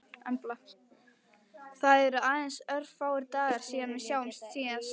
Það eru aðeins örfáir dagar síðan við sáumst síðast.